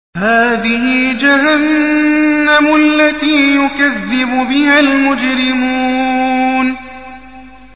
هَٰذِهِ جَهَنَّمُ الَّتِي يُكَذِّبُ بِهَا الْمُجْرِمُونَ